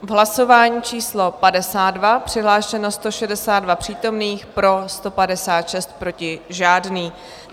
V hlasování číslo 52 přihlášeno 162 přítomných, pro 156, proti žádný.